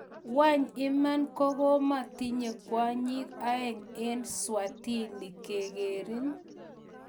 weny, iman kotkometinye kwanyig aeng en eSwatini kegerin